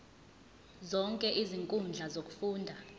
zonke izinkundla zokufunda